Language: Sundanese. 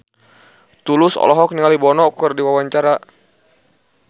Tulus olohok ningali Bono keur diwawancara